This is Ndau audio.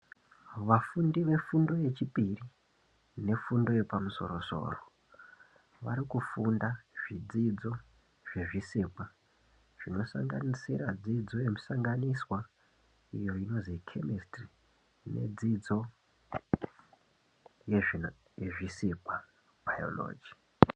Vafundi vefundo yechipiri nefundo yepamusoro soro vari kufunda zvidzidzo zvezvisikwa zvinosanganisira dzidzo yemusanganiswa iyo inozi Kemisitiri nedzidzo yezvisikwa- Bhayoloji.